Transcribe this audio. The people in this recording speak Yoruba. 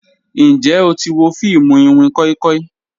Njẹ o ti wo fiimu iwin koi koi?